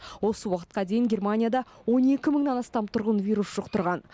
осы уақытқа дейін германияда он екі мыңнан астам тұрғын вирус жұқтырған